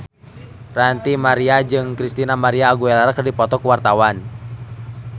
Ranty Maria jeung Christina María Aguilera keur dipoto ku wartawan